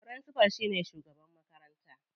Firincifal shine shugaban makaranta.